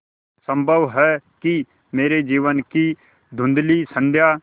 संभव है कि मेरे जीवन की धँुधली संध्या